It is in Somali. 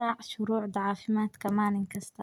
Raac shuruucda caafimaadka maalin kasta.